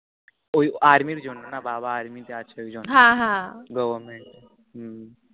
ওই army র জন্য না বাবা army তে আছে ও জন্য হাঁ হাঁ, government হম